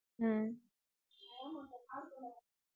ஹம்